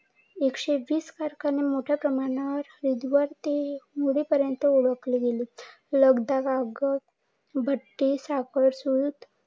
एकशे वीस कारखाने मोठ्या प्रमाणावर विद्वर्ते मुळे ओळखले गेले. भट्टी साखर, सुत